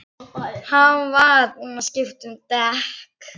Hann var búinn að skipta um dekk.